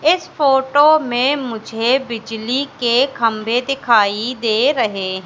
इस फोटो में मुझे बिजली के खंबे दिखाई दे रहे--